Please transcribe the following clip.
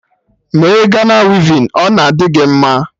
Mee Gana wivin, ọ na adị gị mma!